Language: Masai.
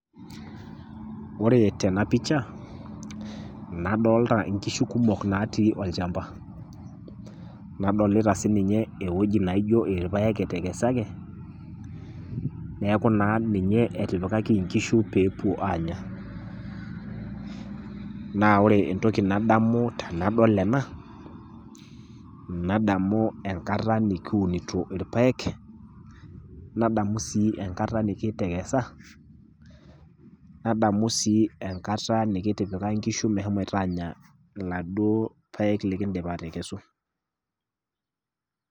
Ore tena pisha, adolita inkishu kumok natii olchamba, nadolita sii ninye ewueji naijo ilpaek etekesaki, neaku naa peyie etipikaki inkishu pee epuo aanya. Naa ore entoki nadamu tenadol ena, nadamu enkata nikiunito ilpaek, nadamu sii enkata nikiitekesa, nadamu sii enkata nikitipika inkishu meshomo aanya iladuo paek likindipa atekesutu.